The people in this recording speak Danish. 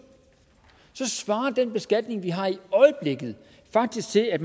så svarer den beskatning vi har i øjeblikket faktisk til at